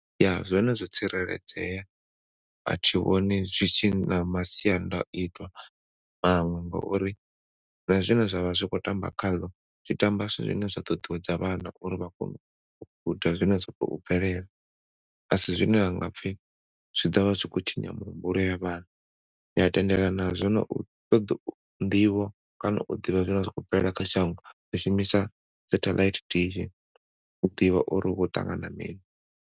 Ya zwone zwo tsireledzea a thi vhoni zwi tshi na masiandaitwa ngauri na zwine zwa vha zwi khou tamba khazwo zwi tamba zwithu zwine zwi ḓo ṱuṱuwedza vhana uri vha kone uita zwine zwa khou bvelela asi zwine hanga pfi zwi ḓovha zwi khou tshinya mihumbulo ya vhana ni a tendelana nazwo no u ṱoḓa u ḓivha kana u ḓivha zwine zwa khou bvelela kha shango u shumisa saṱhelaithi dish u ḓivha uri hu khou ṱangana mini.